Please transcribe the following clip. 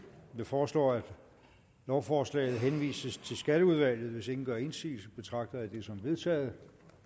jeg foreslår at lovforslaget henvises til skatteudvalget hvis ingen gør indsigelse betragter jeg det som vedtaget